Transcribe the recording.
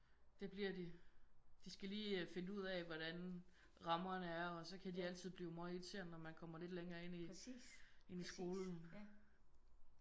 Det bliver de. De skal lige øh finde ud af hvordan rammerne er og så kan de altid blive møgirriterende når man kommer lidt længere ind i ind i skolen